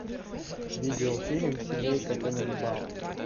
видеофильм семейка тененбаум